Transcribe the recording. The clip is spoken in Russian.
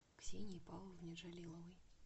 ксении павловне джалиловой